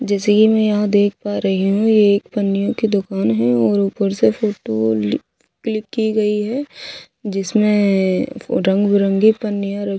जैसे ये मैं यहाँ देख पा रही हूं ये एक पन्नियों कि दुकान हैं और ऊपर से फोटो लि क्लिक कियी गई हैं जिसमें रंग बिरंगी पन्नियां रख--